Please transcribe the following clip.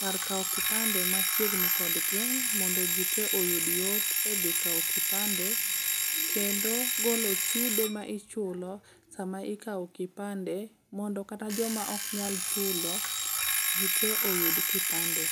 kar kawo kipande machiegni kod gwenge mondo ji te oyud yot e dhi kawo kipande kendo golo chudo ma ichulo sama ikawo kipande mondo kata joma ok nyal chulo ji te oyud kipande.